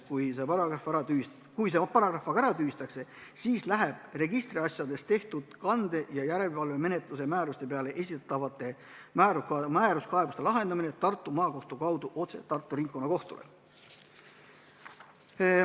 Kui see paragrahv tühistatakse, siis läheb registriasjades tehtud kande- ja järelevalvemenetluse määruste peale esitatavate määruskaebuste lahendamine Tartu Maakohtu kaudu otse Tartu Ringkonnakohtule.